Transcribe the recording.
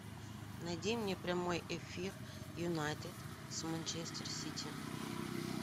найди мне прямой эфир юнайтед с манчестер сити